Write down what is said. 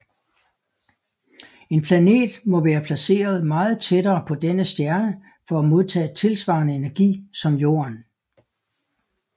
En planet må være placeret meget tættere på denne stjerne for at modtage tilsvarende energi som Jorden